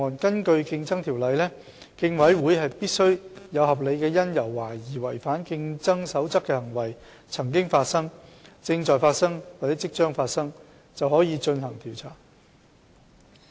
根據《競爭條例》，競委會必須有合理因由懷疑違反競爭守則的行為曾經發生、正在發生或即將發生，便可以進行調查。